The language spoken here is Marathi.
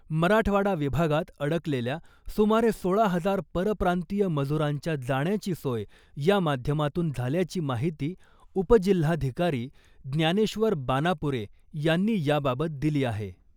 मराठवाडा विभागात अडकलेल्या सुमारे सोळा हजार परप्रांतीय मजुरांच्या जाण्याची सोय या माध्यमातून झाल्याची माहिती उपजिल्हाधिकारी ज्ञानेश्वर बानापूरे यांनी या बाबत दिली आहे .